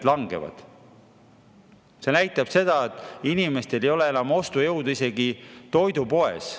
Nüüd me näeme, et inimestel ei ole enam ostujõudu isegi toidupoes.